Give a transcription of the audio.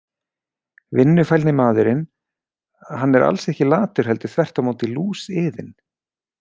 Vinnufælni maðurinn Hann er alls ekki latur heldur þvert á móti lúsiðinn.